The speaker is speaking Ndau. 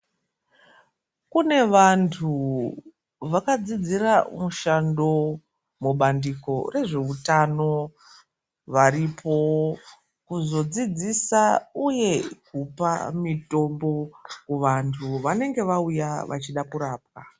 Kune vantu vakadzidzira mushando mubandiko rezveutano varipo kuzodzidzisa uye kupa mitombo kuvantu vanenge vauya vachida kurapwa.